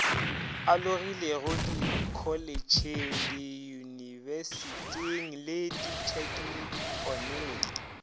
alogilego dikholetšheng diyunibesithing le ditheknikhoneng